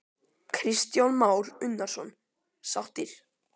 Kristján Már Unnarsson: Sáttir?